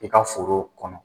I ka foro kɔnɔ.